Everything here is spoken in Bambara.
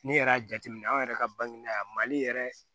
Ni yɛrɛ y'a jateminɛ an yɛrɛ ka bange yan mali yɛrɛ